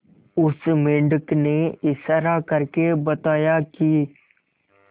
उस मेंढक ने इशारा करके बताया की